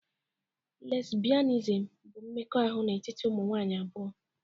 Lesbianism bụ mmekọahụ n'etiti ụmụ nwanyị abụọ